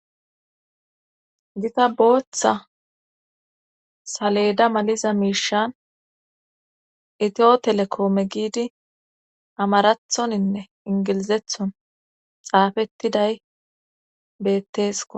Gita booththa saleda maliza miishan itiyo telekoome giidi amarathoninne ingilizethon xaafettiday bettesko